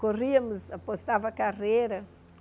Corríamos, apostava carreira.